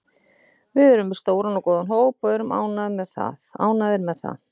Við erum með stóran og góðan hóp og erum ánægðir með það.